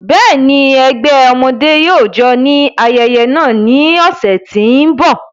Bẹ́ẹ̀ni, ẹgbẹ ọmọde yóò jó ni ayẹyẹ naa ni ọsẹ ti n bọ.